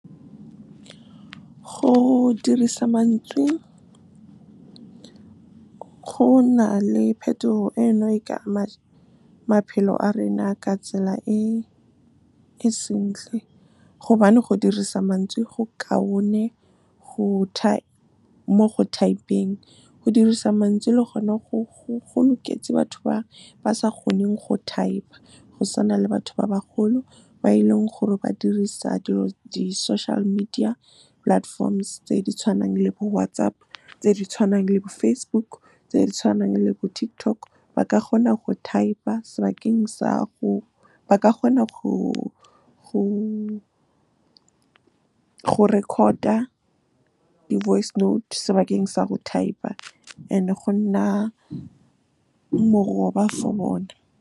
Go dirisa mantswe, go na le phetogo eno e ka ama maphelo a rena a ka tsela e sentle gobane go dirisa mantswe go kaone mo go thaepeng. Go dirisa mantswe le gone go loketse batho ba ba sa kgoneng go thaepa, go tswana le batho ba bagolo ba e leng gore ba dirisa di-social media platforms tse di tshwanang le bo WhatsApp, tse di tshwanang le bo Facebook, tse di tshwanang le bo TikTok. Ba ka kgona go record-a di-voice note sebakeng sa go thaepa and go nna moroba for bona.